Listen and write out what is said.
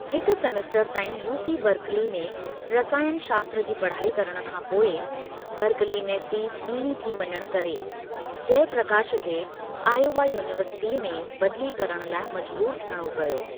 हिक सेमेस्टर ताईं UC Berkeley में रसायनु शास्त्र जी पढ़ाई करण खां पोइ, बर्कली में फीस ॿींणी थी वञणु करे जयप्रकाश खे आयोवा यूनीवर्सिटीअ में बदली करण लाइ मजबूर थियणो पियो।